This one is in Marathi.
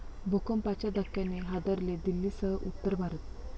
भूकंपाच्या धक्क्याने हादरले दिल्लीसह उत्तर भारत